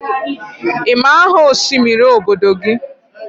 ị ma aha osimiri obodo gị?